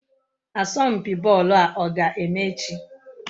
Asompi boolu a oga-eme echi?